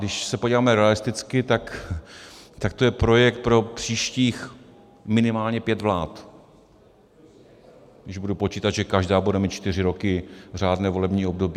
Když se podíváme realisticky, tak to je projekt pro příštích minimálně pět vlád, když budu počítat, že každá bude mít čtyři roky řádné volební období.